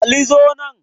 Ali zo nan